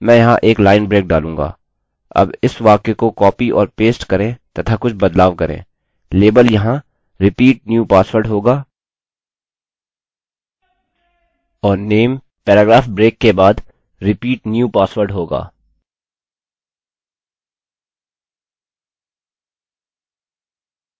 मैं यहाँ एक लाइन ब्रेक डालूँगा अब इस वाक्य को कॉपी और पेस्ट करें तथा कुछ बदलाव करें लेबल यहाँ repeat new password होगा और name पैराग्राफ ब्रेक के बाद repeat new password होगा